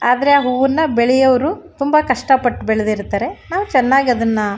ಆದ್ರೆ ಆ ಹೂವನ್ನ ಬೆಳೆಯೋರು ತುಂಬಾ ಕಷ್ಟಪಟ್ಟು ಬೆಳದಿರತ್ತರೆ ನಾವ್ ಚನ್ನಾಗಿ ಅದನ್ನ --